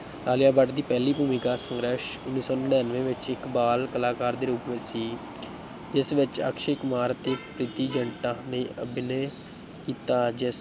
ਆਲਿਆ ਭੱਟ ਦੀ ਪਹਿਲੀ ਭੂਮਿਕਾ ਸੰਘਰਸ਼ ਉੱਨੀ ਸੌ ਨੜ੍ਹਿਨਵੇਂ ਵਿੱਚ ਇੱਕ ਬਾਲ ਕਲਾਕਾਰ ਦੇ ਰੂਪ ਵਿੱਚ ਸੀ ਜਿਸ ਵਿੱਚ ਅਕਸ਼ੈ ਕੁਮਾਰ ਅਤੇ ਪ੍ਰੀਤੀ ਜ਼ਿੰਟਾ ਨੇ ਅਭਿਨੈ ਕੀਤਾ ਜਿ